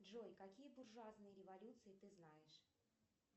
джой какие буржуазные революции ты знаешь